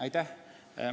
Aitäh!